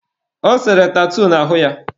Ọ sere tatuu n'ahụ ya..